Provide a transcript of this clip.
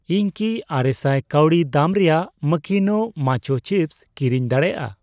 ᱤᱧ ᱠᱤ ᱟᱨᱮᱥᱟᱭ ᱠᱟᱣᱰᱤ ᱫᱟᱢ ᱨᱮᱭᱟᱜ ᱢᱟᱠᱤᱱᱳ ᱱᱟᱪᱦᱳ ᱪᱤᱯᱥ ᱠᱤᱨᱤᱧ ᱫᱟᱲᱮᱭᱟᱜᱼᱟ ?